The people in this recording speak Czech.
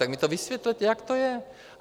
Tak mi to vysvětlete, jak to je.